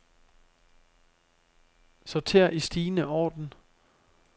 Sorter i stigende orden.